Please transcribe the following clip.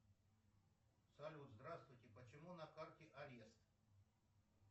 салют здравствуйте почему на карте арест